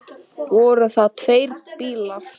Allt í lagi, sagði hún.